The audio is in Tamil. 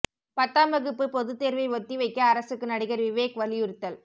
பத்தாம் வகுப்பு பொதுத்தேர்வை ஒத்தி வைக்க அரசுக்கு நடிகர் விவேக் வலியுறுத்தல்